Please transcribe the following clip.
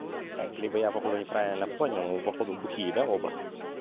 так либо я походу неправильно понял вы походу бухие да оба